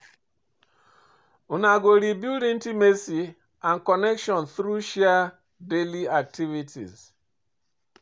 Una go rebuild intimacy and connection through share daily activities.